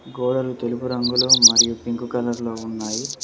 గోడలు తెలుపు రంగులో మరియు పింక్ కలర్ లో ఉన్నాయి.